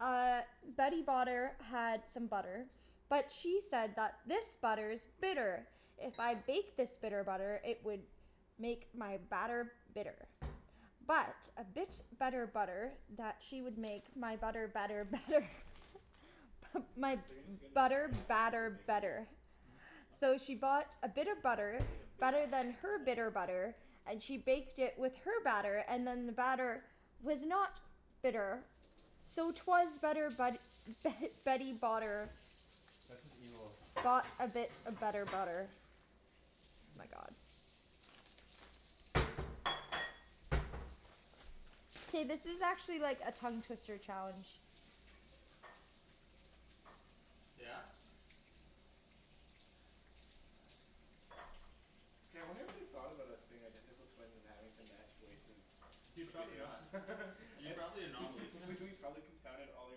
Uh Betty Botter had some butter, but she said that this butter is bitter. If I bake this bitter butter, it would make my batter bitter. But a bit of better butter that she would make my butter better better. My If you're going to get another butter frying pan I'm gonna put the batter bacon here? better. Mhm. So she bought a bit of butter, better than her bitter butter, and she baked it with her batter, and then the batter was not bitter. So it was better but Betty Botter That's just evil. Bought a bit of better butter. Oh my god. Hey this is actually like a tongue twister challenge. Yeah? K, I wonder if they've thought about us being identical twins and having to match voices Dude to the probably video. not. You're probably an anomaly. I, we we've probably confounded all their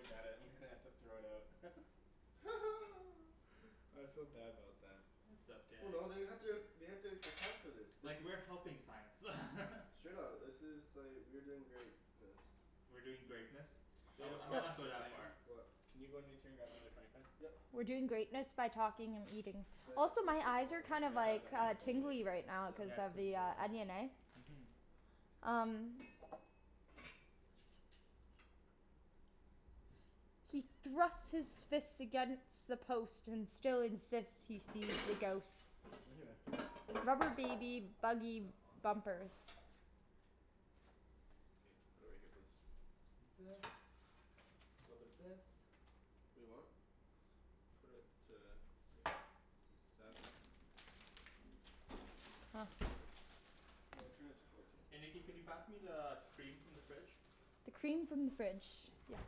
data and they have to throw it out. I feel bad about them. It's Well okay. no they had to, they had to account for this. This Like, is we're helping science. Straight up. This is like, we're doing greatness. We're doing greatness? I mi, Daniel, I might uh not go shit that What Daniel, far. What? can you run to grab me another frying pan? Yep. We're doing greatness by talking and eating. So yeah, Also make my sure it's eyes all are done. kind I of have like a handful of tingly bacon. right Yep. cuz of the onion eh? Mhm. Um. He thrusts his fist against the post and still insists he sees the ghost. Right here. Rubber baby buggy bumpers. Okay. Put it right here please. Little bit of this, little bit of this. Wait what? Put it to like, seven? Huh. No, turn it to fourteen. Hey Nikki It's could gotta you be pass me the cream from the fridge? The cream from the fridge. Yes.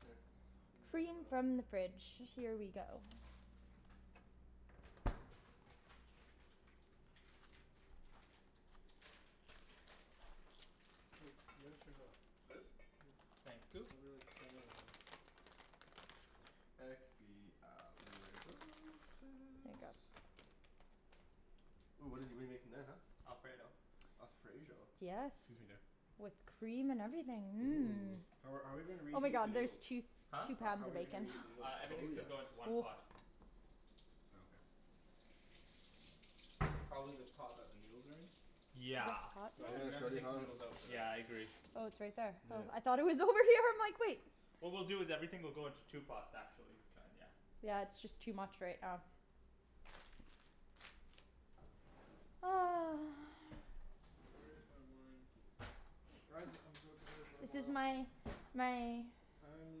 Here. Use that for Cream from that. the fridge. Here we go. Wait, you gotta turn it up. This? Yeah, Thank you. probably like ten or eleven. Here you Expialidocious. go. Ooh what did we make in that huh? Alfredo. Alfredo? Yes. Excuse me there. With cream and everything, Ooh. mmm. Are are we gonna Oh my reheat the God there's noodles? two, Huh? two How pounds how are of we gonna bacon. reheat the noodles? Uh, Oh everything's gonna yes. go into one pot. Oh okay. Probably the pot that the noodles are in? Is it Yeah. hot But I think Yeah we're it's gonna there? have to already take the hot. noodles out for that. Yeah I agree. Oh it's right there. Oh I Yep. thought it was over here, I'm like wait. What we'll do is that everything will go into two pots, Okay actually. Kinda yeah. yeah. Yeah it's just too much right now. Where is my wine? Guys I'm to go to work This is tomorrow. my, my. I'm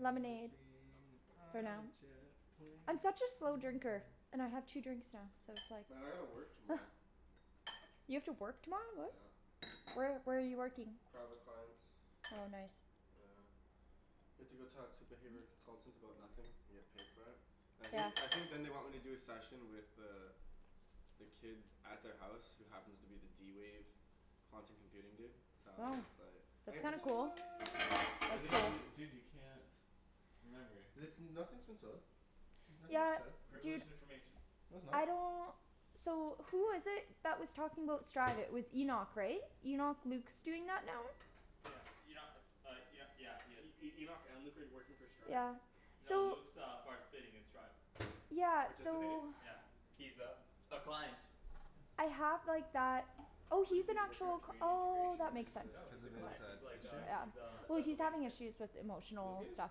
Lemonade. For on now. a jet plane, I'm such a slow don't drinker. know... And I have two drinks now. So it's Well I gotta work like. tomorrow. You have to work tomorrow, what? Yeah. Where where are you working? Private clients. Oh nice. Yeah. You have to go talk to the behavioral consultants about nothing? And get paid for it? I think, Yeah. I think then they want me to do a session with the the kid at their house who happens to be the d-wave quantum computing dude, so Wow. it's but That's kind of cool. Dude, dude you can't... Remember. Listen, nothing's in stone. Nothing's Yeah. set. Dude. Privileged information. No it's not. I don't. So who was it that was talking about Stride, it was Enoch right? Enoch, Luke's doing that now? Yeah, Enoch, uh Enoch, yeah he is. E- E- Enoch and Luke are working for Stride? Yeah, No so. Luke's uh participating in Stride. Yeah, so. Participating? Yeah. He's a, a client. I have like that, oh What is he's an he, working at actual, Canadian oh Integration, that makes sense. Oh No cuz he's or? a of his client, he's like issue? a he Yeah. is a Well special he's needs having kid. issues with Luke emotional is? stuff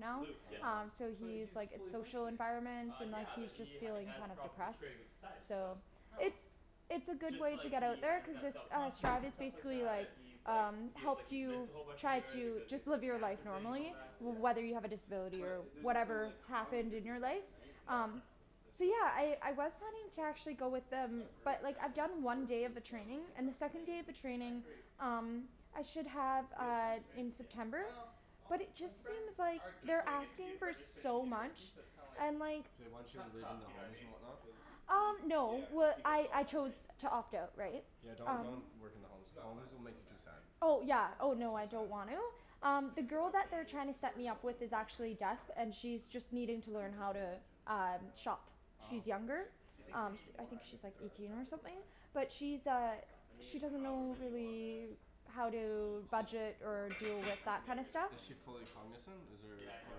now, Luke, yeah. um Oh. so But he's he's like his fully social functioning. environment Uh and yeah he's but just he feeling has kind of problems depressed, integrating with society, so. so. How? It's, it's a It's good just way to like get out he, he there doesn't cuz have it's self uh confidence Stride and is stuff like basically that, like, and he's like um he's like helps he missed you a whole bunch of try years to because of just the live your life cancer thing and all normally that, yeah. whether you have Oh. a disability or But there's no whatever like, happened cognitive in your life, impairment right? No no um no. No, it's So just, yeah okay. I I was planning It's to like. actually go with He's them, got a great but like I've family done one support day of the training system, he's and got the second day of the friends. I training agree. um I should have Real uh friends right? in Yeah. September, Well, all but it just his friends seems like are just they're going into, asking for are just finishing so much, university, so it's kinda like and like They want you to kinda live tough, in the you know what I homes mean? and whatnot? Cuz he Um no yeah cuz well he missed I all I that chose right? to Yeah. opt out right? Yeah don't, Um don't work in He the homes. he's got Homes plans will to go make you too back right? sad. Oh I yeah don't oh So know. no I sad. don't want to. Um I the guess at girl that that point they're you're just trying to set worried me about up with living is life, hey? actually deaf, and Yeah. she's just needing I to couldn't learn even how to imagine. um I know. shop. Oh. She's younger, Like... Do you think we um need I more think she's onions and like garlic? No eighteen I or think we're something. fine. But she's I think uh, we're fine. I mean she doesn't however know many you want man. really how Um, I'm to all Is budget for or deal it. with I can that never kinda get enough stuff. Is she onion or fully garlic. cognizant? Is there, Yeah I know or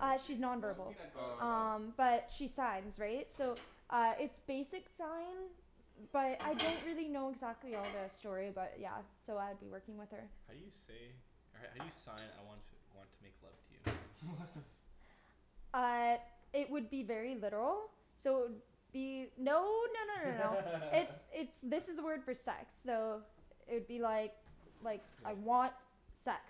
what Uh, you she's mean. non You know, we verbal. can add garlic Oh salt. okay. Um but she signs, right? So uh it's basic sign, but, I don't really know exactly all the story about it, yeah. So I'd be working with her. How do you say, how do you sign I want want to make love to you? What the Uh it would be very literal, so it would be... No no no no no. It's, it's, this is the word for sex. So it would be like like, Yeah. I want sex.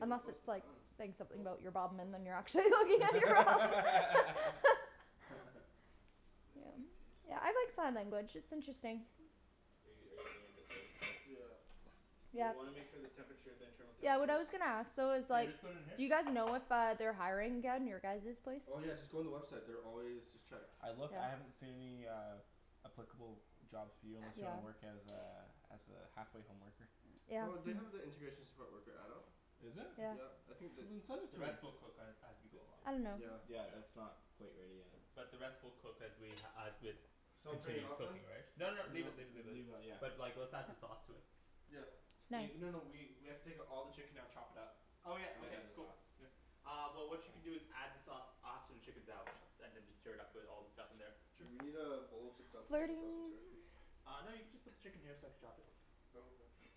Unless it's like, saying something Cool. about your bum and then you're Take a actually piece looking at out. your bum. Nice Yeah. big piece. Yeah I like sign language, it's interesting. Hey, are you seeing if it's already cooked? Yeah. But we Yeah. wanna make sure the temperature, the internal Yeah what temperature I is... was gonna ask though is So I like, just put it in here? do you guys know if uh they're hiring again? Your guys' place? Oh yeah just go on the website. They're always, just check. I look, I haven't Okay. seen uh any applicable jobs for you unless you want to work as Okay. a, as a halfway home worker. Yeah. No, they have the integration support worker adult. Is it? Yeah. Yeah. I think You that... didn't send it The to me. rest we'll cook as as we go along. I don't know. Yeah. Yeah it's not quite ready yet. But the rest we'll cook as we as with So I'm turning it continue off then? cooking right? No No, no, leave it leave it leave it. leave it yeah. But like let's add the sauce to it. Yeah. Nice. Wait, no no we we have to take all the chicken out, chop it up, Oh yeah. and then Okay. add the Cool. sauce. Uh well what you can do is add the sauce after the chicken's out, and then just stir it up with all the stuff in there. Sure, we need a bowl to dump the chicken sauce into Flirting. here. Uh no you can just put the chicken here so I could chop it. Oh okay.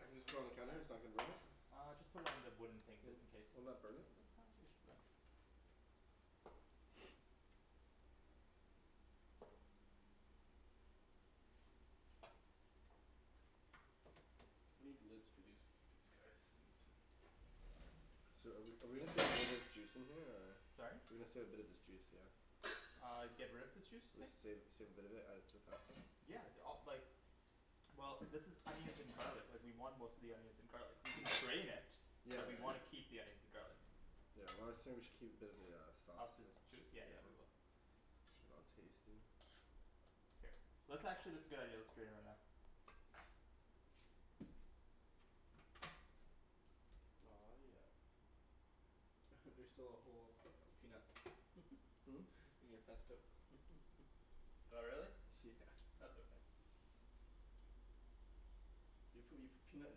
I can just put it on the counter? It's not gonna burn it? Uh just put it on the wooden thing Would, just in case. wouldn't that burn it? No, I think it should be fine. I need the lids for these, these guys. So are we are we gonna save a little bit of this juice in here, or? Sorry? We're gonna save a bit of this juice, yeah? Uh, get rid of this juice you're saying? Save, save a bit of it, add it to the pasta? Yeah, d- uh like Well, this is onions and garlic. Like, we want most of the onions and garlic. We can strain it. Yeah But we yeah. wanna keep the onions and garlic. Yeah, well I was saying we should keep a bit of the uh, Of sauce, this yeah. juice? Yeah yeah we will. I'll taste it. Here. Let's actually, that's a good idea. Let's drain it right now. Aw, yeah. There's still a whole peanut. Hmm? In your pesto. Oh really? Yeah. That's okay. Do you put, you put peanut in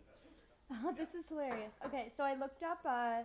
pesto? This Yep. is hilarious. Okay, so I looked up, uh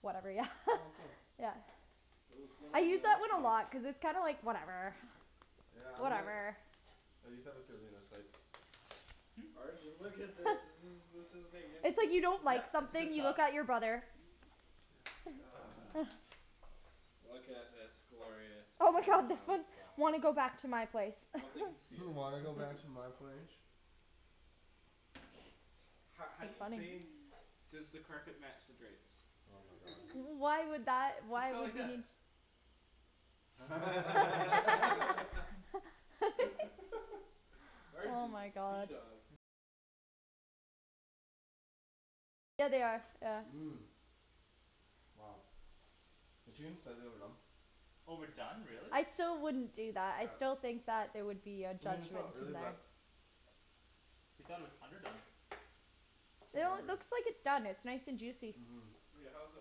Whatever. Yeah Oh cool. Yeah. Ooh, it's going I all use that one a melty. lot, cuz it's kind of like, whatever Yeah, I'm gonna I use that with Darlene, I was like Hmm? Arjan, look at this. This is this is It's like, magnificent. you don't like Yep, it's a something, good you sauce. look at your brother. Yeah Look at this glorious Oh my god, this parmesan one, sauce. "Wanna go back to my place?" "Hmm, Wanna go back to my place?" Ho- how do It's you say funny. "Does the carpet match the drapes?" Oh my god. Why would that, Just why go like would you this. need t- Oh Arjan, you my god. seadog. Mmm. Wow. The team said they were done. Oh we're done, really? I still wouldn't do that. I Yep. still think that there would be a I mean it's judgment not really, in there. but You thought it was underdone. How No, it lovely. looks like it's done. It's nice and juicy. Mmm. Wait, how is it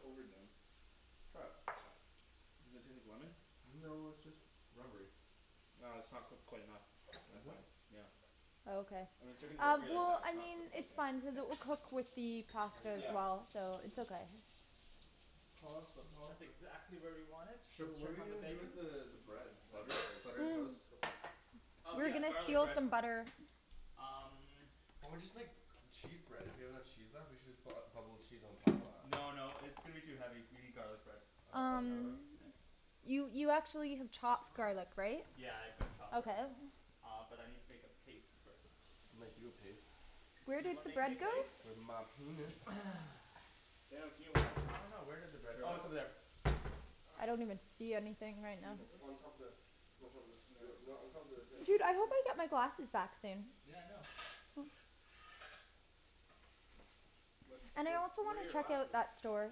overdone? Try it. Does it taste like lemon? No it's just rubbery. Ah, it's not cooked quite enough. That's Is it? fine. Yeah. Oh okay. Uh, when chicken's Uh, rubbery like well, that, it's I not mean cooked quite it's yet. fine, cuz it K. will cook with the There pasta you go. as well, so Mhm. it's okay. Pasta, That's pasta. exactly where we want it. Sh- Let's what are check we on the gonna do bacon. with the the Nah. bread? Not even Butter? close. Butter and toast? Cool. Oh We're yeah, gonna garlic steal bread. some butter. Um Or we just make cheese bread? If we have enough cheese left, we should just bu- uh bubble cheese on top of that. No no, it's gonna be too heavy. We need garlic bread. Uh oh the garlic bread? Um Here. You you actually have chopped Stop. garlic right? Yeah, I've gotta chop that. Okay. Uh, but I need to make a paste first. I'll make you a paste. Where Do you did wanna the make me a bread go? paste? With my penis. I don't know, where did the bread, oh it's over there. I don't even see anything right Can you now. hold On top this? of the On top of this. Yo, no, on top of the, here. Dude, I hope I get my glasses back soon. Yeah I know. What's, And I what's, also where are wanna your check out glasses? that store.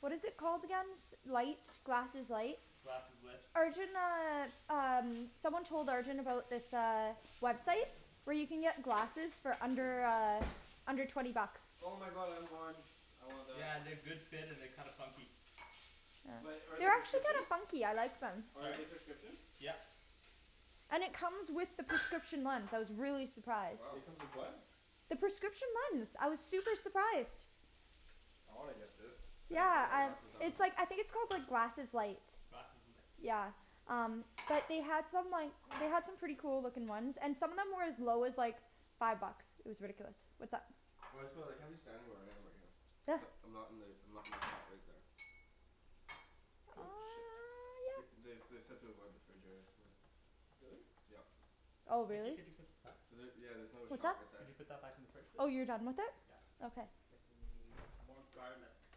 What is it called again? S- light, glasses light? Glasseslit. Arjan uh, um, someone told Arjan about this uh, website where you can get glasses for under, uh under twenty bucks. Oh my god, I want. I want that. Yeah, they're good fit and they're kinda funky. But are they They're actually kinda prescription? funky, I like them. Are Sorry? they prescription? Yep. And it comes with the prescription lens. I was really surprised. Wow. It comes with what? The prescription lens, I was super surprised. I wanna get this. I need to get Yeah, my I, glasses done. it's like, I think it's called like glasses light. Glasseslit. Yeah. Um, but they had some like, they had some pretty cool looking ones, and some of them were as low as, like five bucks. It was ridiculous. What's up? Well I just feel like, I'm just standing where I am right here. I'm not in the, I'm not in the spot right there. Cool. Shit. Th- Yep. they they said to avoid the fridge area, yeah. Really? Yep. Oh Nikki really? could you put this back? Was it, yeah there's another What's shot up? right Could there. you put that back in the fridge please? Oh you're done with it? Yeah. Okay. I think we need more garlic.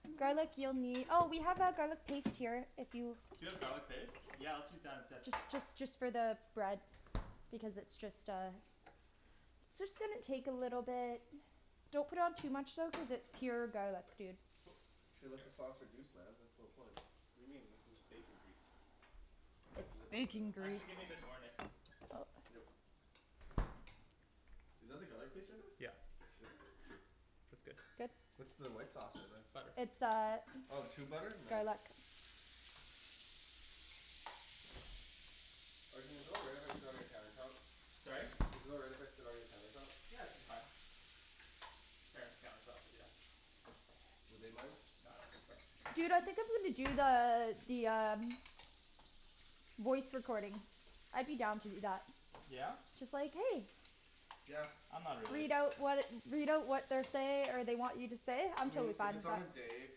Garlic you'll nee- oh we have our garlic paste here, if you Do you have garlic paste? Yeah let's use that instead. Just just just for the bread. Because it's just uh it's just gonna take a little bit. Don't put on too much though cuz it's pure garlic, dude. Cool. You should let the sauce reduce man, that's the whole point. What do you mean? This is bacon grease. Can I It's have the lid to the bacon grease. Actually give me a bit more, Nikks. Yep. Is that the garlic paste right there? Yeah. Shit. That's good. Good. What's the white sauce in there? Butter. It's uh Oh tube butter? Nice. garlic. Arjan is it all right if I sit on your countertop? Sorry? Is it alright if I sit on your countertop? Yeah, it should be fine. Parents' countertop, but yeah. Would they mind? Nah, I don't think so. Dude, I think I'm gonna do the, the um voice recording. I'd be down to do that. Yeah? Just like "Hey!" Yeah. I'm not really. Read out what, read out what they're say, or they want you to say. I I'm mean totally if fine it's with on that. a day,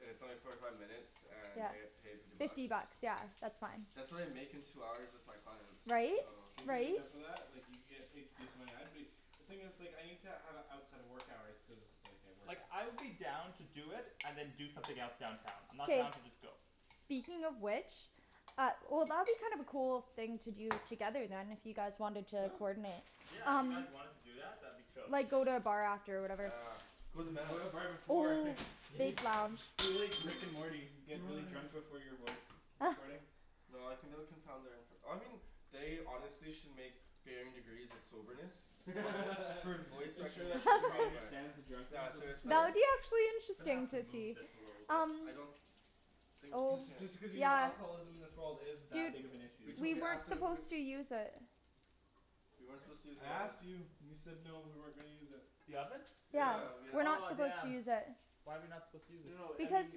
and it's only forty five minutes, and Yeah. I get paid fifty bucks? Fifty bucks. Yeah. That's fine. That's what I make in two hours with my clients. Right? If you get Right? enough of that, like you can get paid decent money. I'd be The thing is like, I need to have it outside of work hours, cuz like I work. Like I would be down to do it and then do something else downtown. I'm not down K. to just go. Speaking of which Uh, well that'd be kind of a cool thing to do together then, if you guys wanted Yeah. to coordinate. Yeah, if you guys wanted to do that, that'd be chill. Like go to a bar after or whatever. Ah. Go to the bar before. Yeah. Big lounge. Be like Rick and Morty. Get really drunk before your voice recordings. No, I think that would confound their infor- I mean they honestly should make varying degrees of soberness for voice Make sure that recognition Siri software. understands the Yeah, drunkards of so this it's like Yeah, world. it'd be actually Gonna have interesting to so move see, this a little bit. um I don't think you Oh Just can. just because you know Yeah. alcoholism in this world is that Dude big of an issue. We'd we totally ask weren't them if we supposed to use it. We weren't What? supposed to use I the oven. asked you. You said no, we weren't gonna use it. The oven? Yeah. Yeah. We're not Oh supposed to damn. use it. Why are we not supposed to use it? No I Because mean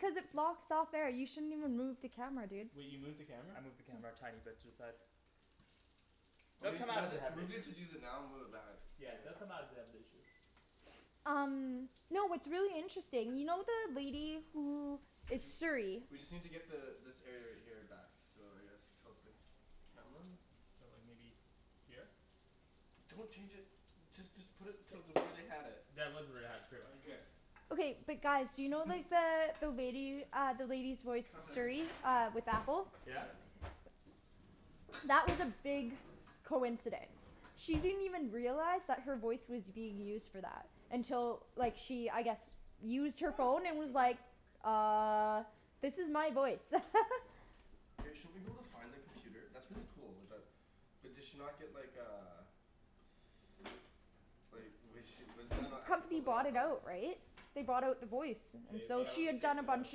cuz it's blocks out there, you shouldn't even move the camera dude. Wait, you moved the camera? I moved the camera a tiny bit to the side. Well They'll come maybe, out let if they it, have an maybe issue. just use it now and move it back, it's Yeah good. they'll come out if they have an issue. Um Y'know what's really interesting, you know the lady who Did is you, Siri. we just need to get the, this area right here back. So I guess tilt the camera? So like maybe Here? Don't change it. Just just put it to the way they had it. That was where they had it, pretty much. Okay but guys, do you know like the, the lady, uh the lady's voice Cutlery. Siri uh with Apple? Yeah? That was a big coincidence. She didn't even realize that her voice was being used for that. Until like she, I guess used her phone and was Good enough. like "Uh." "This is my voice." Hey, shouldn't we be able to find the computer, that's really cool, with that But did she not get like, uh Like was she, wasn't that not ethical Company to not bought it tell her? out, right? They bought out the voice. K, we So have she to had Oh. take done a the bunch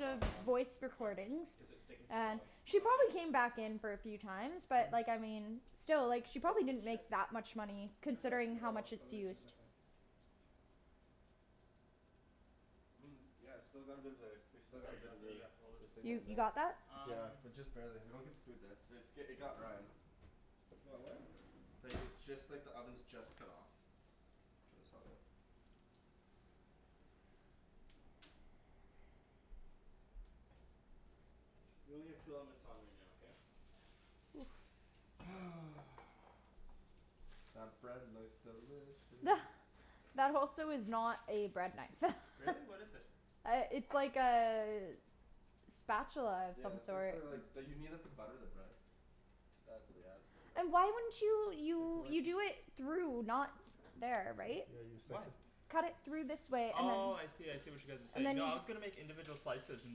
of sauce off. voice Why? recordings. Cuz it's sticking to the And bottom. she Oh okay. probably came back in for a few times, but like I mean still like she Oh probably didn't shit. make that much money I turned it, I turned considering it how all off. much How it's do I turn used. this on? I mean, yeah it's still got a bit of there, we still got a bit of the You, you got that? Um Just barely. They don't get the food there. But it's, i- it got Ryan. It got what? Like, it's just like the oven's just cut off. So it's all good. We only have two elements on right now, okay? That bread looks delicious. That also is not a bread knife. Really? What is it? Uh, it's like a spatula of some Yeah it's like sort. for like, d- you need that to butter the bread. That's it, you have to burn that. Why wouldn't you, Like you, like you do it through, not there, right? Yeah you Why? slice it Cut it through this way, and then Oh, I see, I see what you guys are and saying. then No I was gonna make individual slices and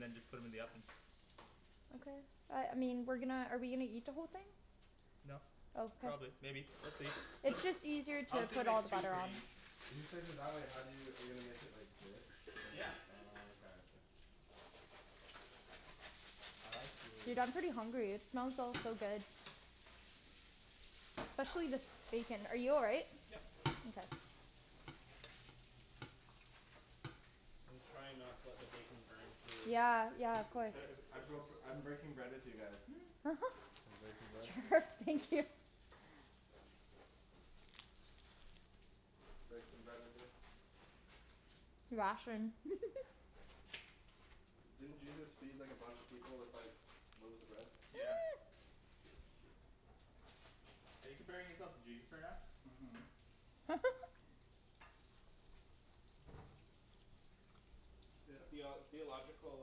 then just put 'em in the oven. Okay. Uh, I mean, we're gonna, are we gonna eat the whole thing? No. Probably. Maybe. We'll see. It's It's just easier I to was gonna put make all the two butter for on. each. If you slice it that way, how do you, are you gonna make it like this? And then, Yeah. oh okay. Uh I Dude, see. I'm pretty hungry, it smells so so good. Especially this bacon. Are you all right? Yep. I'm just trying not to let the bacon burn too. Yeah, yeah, of These course nice I dishes. broke, I'm breaking bread with you guys. Breaking bread. Thank you. Break some bread with me. Didn't Jesus feed like a bunch of people with like loaves of bread? Yeah. Are you comparing yourself to Jesus right now? Mhm. Theo- theological,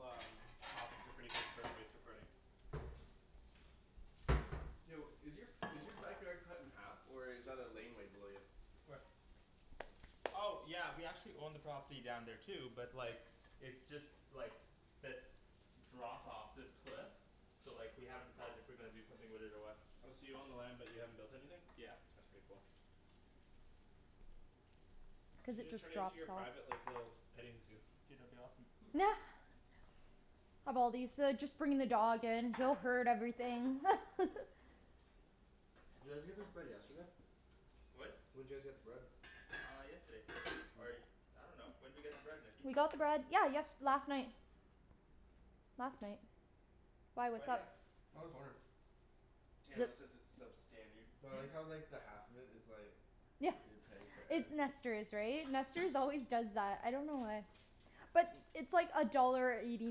um topics are pretty good for a voice recording. Yo, is your is your backyard cut in half or is that a laneway below you? Where? Oh yeah, we actually own the property down there too, but like It's just, like this drop off, this cliff. So like, we haven't decided if we're gonna do something with it or what. Oh, so you own the land but you haven't built anything? Yeah. That's pretty cool. You Cuz should it just just turn it into drops your private off. like, little petting zoo. Dude, that'd be awesome. Of all these, uh just bringing the dog in, everything Did you guys get this bread yesterday? What? When'd you guys get the bread? Uh yesterday. Or I dunno. When'd we get the bread, Nikki? We got the bread, yeah yest- last night. Last night. Why, Why what's do you up? ask? I'm just wondering. Daniel says it's substandard. Well, I like Hmm? how like the half of it is like Yeah. you're paying for air. It's Nester's, right? Nester's always does that. I don't know why. But it's like a dollar eighty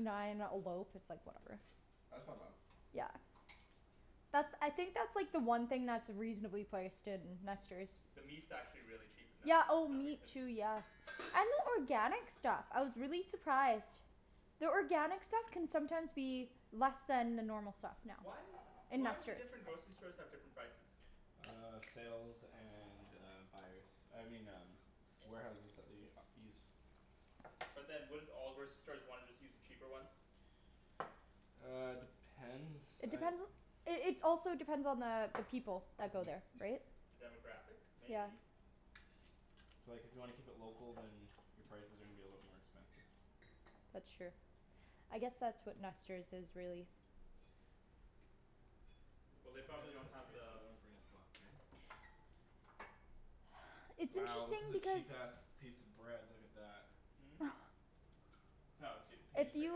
nine a loaf. It's like, whatever. That's not bad. Yeah. That's, I think that's like the one thing that's reasonably priced in Nester's. The meat's actually really cheap at Yeah, Nester's for oh some meat reason. too, yeah. And the organic stuff. I was really surprised. The organic stuff can sometimes be less than the normal stuff now. Why is In Why do Nester's. different grocery stores have different prices? Uh sales and uh buyers. I mean um warehouses that they uh use. But then wouldn't all grocery stores wanna just use the cheaper ones? Uh, depends, It I depends on It it's also depends on the people that go there. Right? The demographic? Yeah. Maybe. So like if you wanna keep it local, then Your prices are gonna be a little bit more expensive. That's true. I guess that's what Nester's is, really. Keep it Well at, they at probably don't have this we the don't wanna burn his pots, right? It's Wow, this interesting is a because cheap ass piece of bread. Look at that. Hmm? Oh dude Paying If for you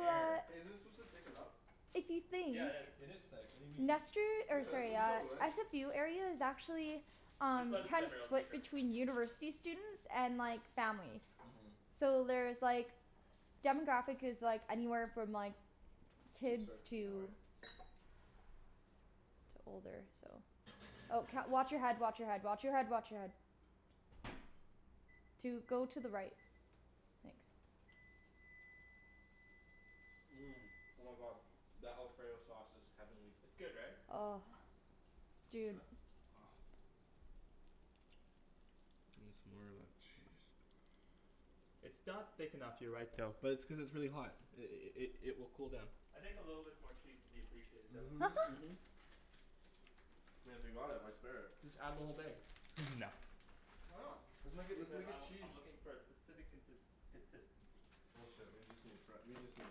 air. uh Hey, isn't this supposed to thicken up? If you think Yeah it is. It is thick. What do you mean? Nester, Hey or man, what sorry are you uh, telling me Ryan? SFU area is actually Just Um let it simmer, it'll thicker. between university students and like, families. Mhm. So there's like demographic is like anywhere from like Oh kids sorry. No to worries. to older, so Oh wa- watch your head, watch your head, watch your head, watch your head. Dude go to the right. Thanks. Mmm. Oh my god. That alfredo sauce is heavenly. It's good right? Oh. Dude. Try? Gimme some more of that cheese. It's not thick enough, you're right though. But it's cuz it's really hot. I- i- i- it will cool down. I think a little bit more cheese would be appreciated though. Mhm. I mean if we bought it, why spare it? Just add the whole thing. No. Why not? Let's make a, let's Because make I a w- cheese. I'm looking for a specific contins- consistency. Bullshit, we just need fre- we just need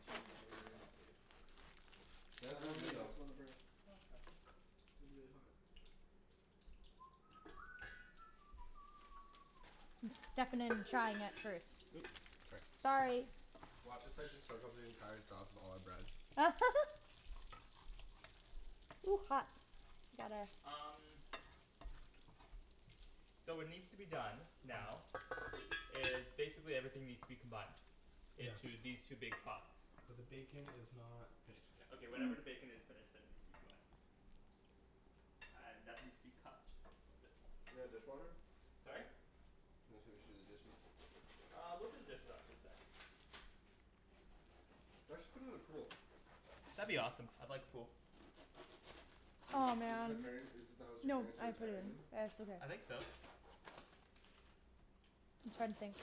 cheese man. Nah dude. Oh no, you got some Yeah. on the burner. No it's fine. It'd be really hot. I'm stuffing it and trying it first. Oops, sorry. Sorry. Watch us like just soak up the entire sauce with all our bread. Ooh, hot. Gotta Um So what needs to be done, now is basically everything needs to be combined Yes. into these two big pots. But the bacon is not finished yet. Okay whenever the bacon is finished, then it needs to be combined. Uh and that needs to be cut a bit more. You got a dishwasher? Sorry? I was gonna say we should do the dishes. Uh we'll do the dishes after the sauce. You guys should put in a pool. That'd be awesome. I'd like a pool. Is Aw this is this the man. parent is this the house your No, parents are I retiring cleaned. in? It's okay. I think so. Something.